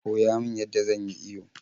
Koya min yadda zan yi iyo